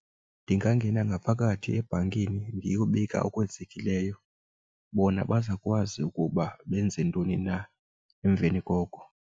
Ndingangena ngaphakathi ebhankini ndiyobika okwenzekileyo, bona bazawukwazi ukuba benze ntoni na emveni koko.